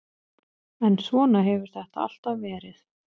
En svona hefur þetta alltaf verið.